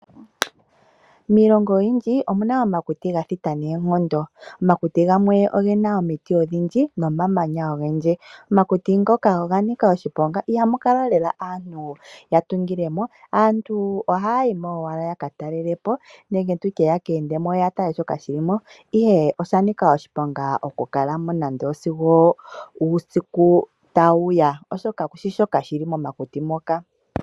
Miilongo oyindji omu na omakuti ga thita noonkondo. Omakuti gamwe oge na omiti odhindji nomamanya ogendji. Omakuti ngoka oga nika oshiponga, ihamu kala lela aantu ya tungile mo. Aantu ohaya yi mo owala ya ka talele po nenge ya ka ende mo yo ya tale shoka shi li mo, ihe osha nika oshiponga okukala mo sigo uusiku tawu ya, oshoka ku shi shoka shi li momakuti moka.